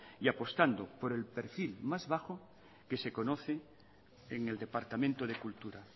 y apostando por el perfil más bajo que se conoce en el departamento de cultura